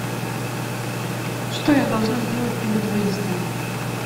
что я должна сделать перед выездом